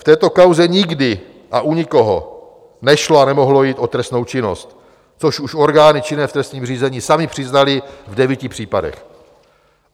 V této kauze nikdy a u nikoho nešlo a nemohlo jít o trestnou činnost, což už orgány činné v trestním řízení samy přiznaly v devíti případech.